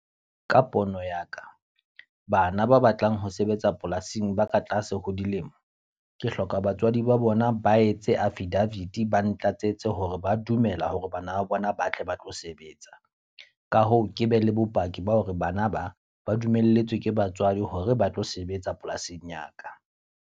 Ka pono ya ka, bana ba batlang ho sebetsa polasing ba ka tlase ho dilemo. Ke hloka batswadi ba bona ba etse affidavit, ba ntlatsetse hore ba dumela hore bana ba bona ba tle ba tlo sebetsa. Ka hoo, ke be le bopaki ba hore bana ba ba dumelletswe ke batswadi hore ba tlo sebetsa polasing ya ka.